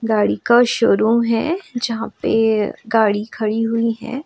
गाड़ी का शोरूम है जहां पे गाड़ी खड़ी हुई है।